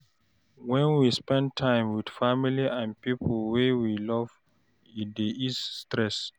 When we spend time with family and pipo wey we love e dey ease stress